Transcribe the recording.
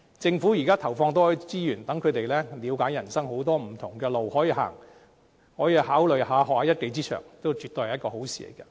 政府現在投放多一些資源，讓他們能了解人生有很多不同的路可走，可考慮學習一技之長，這也絕對是一件好事。